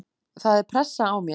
Það er pressa á mér.